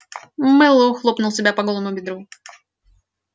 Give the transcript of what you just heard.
мэллоу хлопнул себя по голому бедру